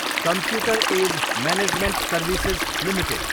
computer Age Management Services Ltd